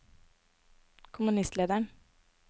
kommunistlederen